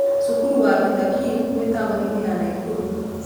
Cukuru wa Luther King wĩ taũni -inĩ ya Naikuru